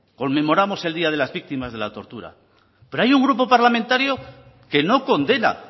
conmemoramos el día de las víctimas de la tortura pero hay un grupo parlamentario que no condena